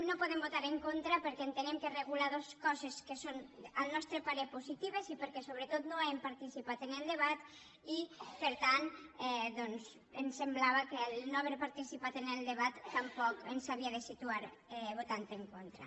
no hi podem votar en contra perquè entenem que regula dos coses que són al nostre parer positives i perquè sobretot no hem participat en el debat i per tant ens semblava que en no haver participar en el debat tampoc ens havíem de situar votant hi en contra